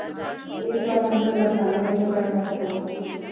এইতো Arbi ভালো, তুমি কেমন আছো?